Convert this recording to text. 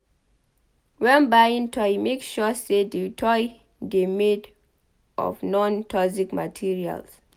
When buying toy make sure sey di toy dey made of non-toxic materials